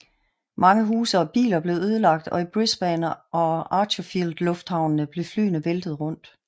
Mange huse og biler blev ødelagt og i Brisbane og Archerfield lufthavnene blev flyene væltet rundt